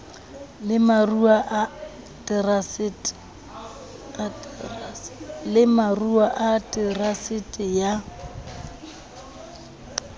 le maruo a terasete ya